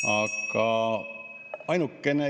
Aga ainukene ...